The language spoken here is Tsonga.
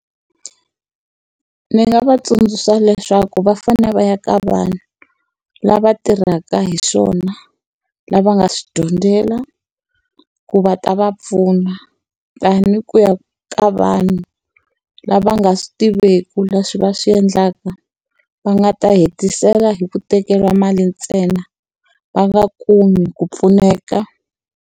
Ni nga va tsundzuxa leswaku va fanele va ya ka vanhu lava tirhaka hi swona, lava nga swi dyondzela, ku va ta va pfuna. Than ku ya ka vanhu lava nga swi tiveki leswi va swi endlaka, va nga ta hetisela hi ku tekeriwa mali ntsena va nga kumi ku pfuneka.